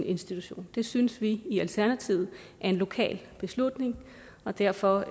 institutionen det synes vi i alternativet er en lokal beslutning og derfor